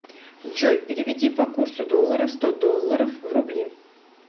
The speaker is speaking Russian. джой переведи по курсу доллара сто долларов в рубли